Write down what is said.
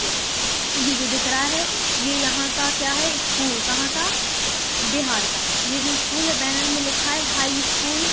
य ये जो दिख रहा है ये यहाँ का क्या है स्कूल कहां का बिहार का ये जो स्कूल है बैनर मे लिखा है हाई स्कूल .